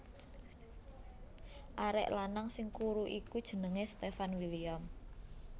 Arek lanang sing kuru iku jenenge Stefan William